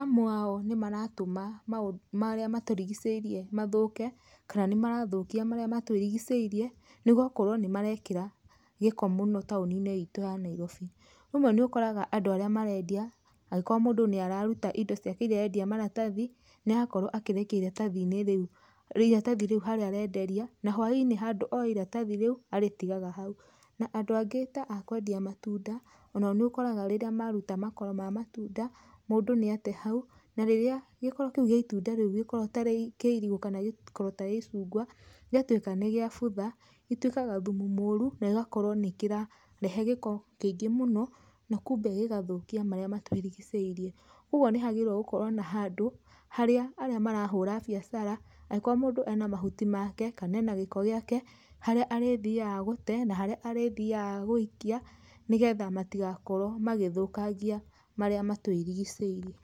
Amwe ao nĩ maratũma marĩa matũrigicĩirie mathũke, kana nĩmarathũkia marĩa matũrigicĩirie nĩgũkorwo nĩmarekĩra gĩko mũno taũni-inĩ ĩtũ ya Nairobi. Rĩmwe nĩ ũkoraga andũ arĩa marendia rĩmwe mũndũ nĩararuta indo iria arendia maratathi, nĩarakorwo akĩrekia iratathi rĩu harĩa arenderia, na hwainĩ handũ oe iratathi rĩu arĩtigaga hau. Na andũ angĩ ta akwendia matunda, onao nĩũkoraga rĩrĩa maruta makoro ma matunda mũndũ nĩate hau, na rĩrĩa gĩkoro ta kĩu kĩa irigũ, kana gĩkoro ta gĩa icungwa gĩatuĩka nĩgĩabutha, gĩtuĩkaga thumũ mũru na gĩgakorwo nĩkĩrarehe gĩko kĩingĩ mũno na kumbe gĩgathũkia marĩa matũrigicĩirie. Koguo nĩhagĩrĩire gũkorwo na handũ harĩa arĩa marahũra biacara angĩkorwo mũndũ ena mahuti make kana gĩko gĩake, harĩa arĩthiyaga gũte, kana harĩa arĩthiyaga gũikia nĩgetha matigakorwo magĩthũkangia marĩa matũrigicĩirie.